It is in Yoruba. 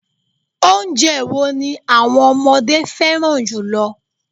Oúnjẹ wo ni àwọn ọmọdé fẹ́ràn jùlọ